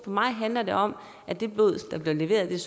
mig handler det om at det blod der bliver leveret er